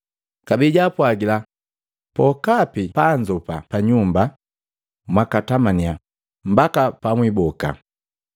Kabee jaapwagila, “Pokapi pabanzoopa panyumba, mwakatamanya mbaka pamwiboka.